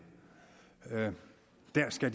skal